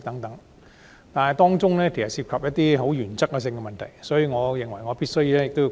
由於當中涉及一些原則問題，我認為我必須發言。